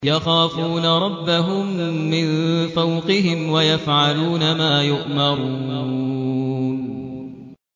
يَخَافُونَ رَبَّهُم مِّن فَوْقِهِمْ وَيَفْعَلُونَ مَا يُؤْمَرُونَ ۩